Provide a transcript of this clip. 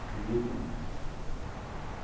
Acredita em mim.